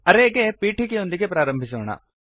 ಅರೇ ಗೆ ಪೀಠಿಕೆಯೊಂದಿಗೆ ಪ್ರಾರಂಭಿಸೋಣ